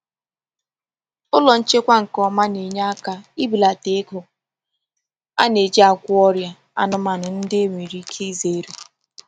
Ụlọ nchekwa nke ọma na-enye aka n'ibelata ego a na-eji agwọ ọrịa anụmanụ ndị enwere ike izere.